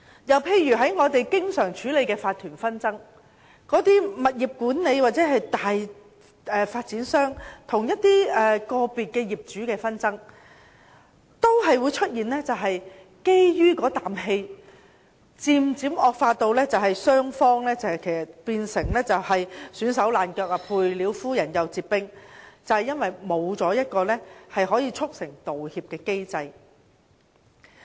又例如我們經常處理的法團紛爭，物業管理公司或大發展商與個別業主的紛爭都可能基於意氣，漸漸導致雙方鬧得焦頭爛額，"賠了夫人又折兵"，正因為沒有一個可以促成道歉的機制。